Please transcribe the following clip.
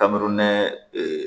Kami nɛmɛ